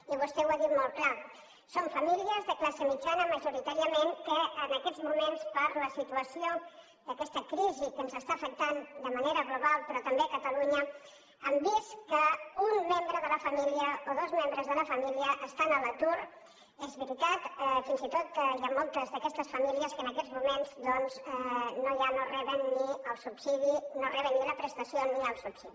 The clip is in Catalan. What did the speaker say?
i vostè ho ha dit molt clar són famílies de classe mitjana majoritàriament que en aquests moments per la situació d’aquesta crisi que ens està afectant de manera global però també a catalunya han vist que un membre de la família o dos membres de la família estan a l’atur és veritat fins i tot hi ha moltes d’aquestes famílies que en aquests moments doncs no reben ni la prestació ni el subsidi